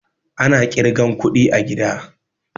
Ana ƙirgan kuɗi a gida